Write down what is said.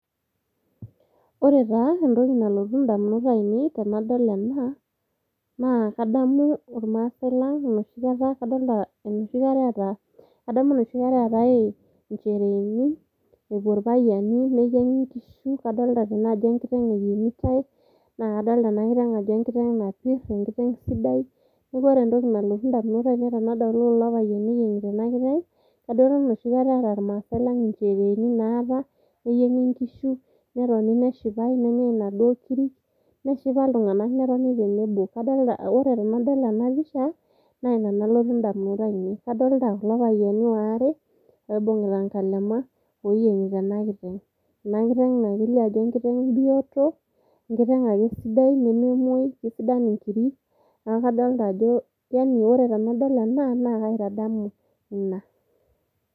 ore taa entoki nalotu indamunot ainei tenadol ena naa kadamu irmasae lang enoshi kata kadolta enoshi kata eeta, kadamu enoshi kata eetae inchereeni epuo irpayiani neyieng'i inkishu kadolta tene ajo enkiteng eyieng'itae naa kadolta ena kiteng ajo enkiteng napirr enkiteng sidai niaku ore entoki nalotu indamunot ainei tenadolu kulo payiani eyieng'ita ena kiteng kadamu enoshi kata eeta irmasae lang inchereeni naata neyieng'i inkishu netoni nesipae nenyai inaduo kirik neshipa iltung'anak netoni tenebo kadolta, ore tenadol ena pisha naa ina nalotu indamunot ainei adolta kulo payiani waare oibung'ita inkalema oyieng'ita ena kiteng, ena kiteng naa kelio ajo enkiteng bioto enkiteng ake sidai nememuoi kisidan inkirei naku kadolta ajo yani ore tanadol ena naa kaitadamu ina.